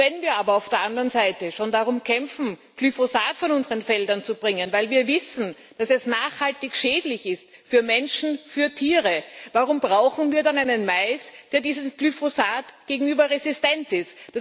Wenn wir aber auf der anderen Seite schon darum kämpfen, Glyphosat von unseren Feldern zu bringen, weil wir wissen, dass es nachhaltig für Menschen und für Tiere schädlich ist, warum brauchen wir dann einen Mais, der diesem Glyphosat gegenüber resistent ist?